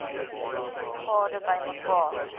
u gade bymekaar